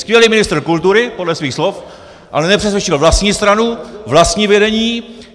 Skvělý ministr kultury podle svých slov, ale nepřesvědčil vlastní stranu, vlastní vedení.